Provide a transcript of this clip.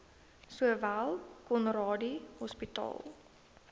sowel conradie hospitaal